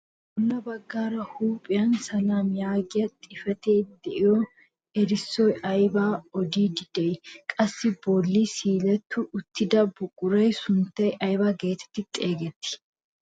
Bolla baggaara huuphphiyaan "SELAM" yaagiyaa xifatee de'iyoo erissoy aybaa odiidi de'ii? qassi a bolli siiletti uttida buquraa sunttay ayba getetti xegettii?